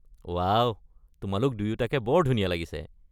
Wow, তোমালোক দুয়োটাকে বৰ ধুনিয়া লাগিছে।